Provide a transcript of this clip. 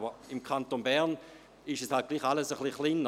Doch im Kanton Bern ist alles ein wenig kleiner.